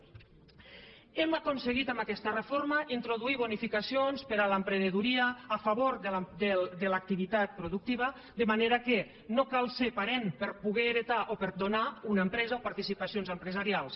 hem aconseguit amb aquesta reforma introduir bonificacions per a l’emprenedoria a favor de l’activitat productiva de manera que no cal ser parent per a poder heretar o per a donar una empresa o participacions empresarials